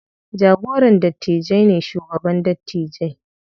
Jagoran dattijai ne shugaban dattijai.